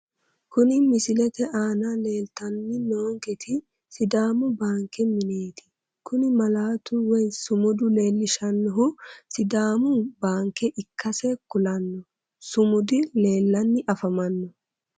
Kuni misilete aana leeltanni noonketi sidaamu baanke mineeti kuni malaatu woyi sumudu leellishannohu sidaamu baanke ikkase kulanno sumudi leellanni afamanno